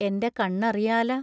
എന്റെ കണ്ണറിയാല.